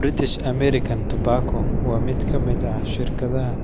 British American Tobacco waa mid ka mid ah shirkadaha